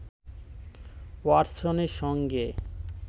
ওয়াটসনের সঙ্গে